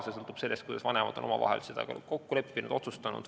See sõltub sellest, kuidas vanemad on omavahel seda kokku leppinud ja otsustanud.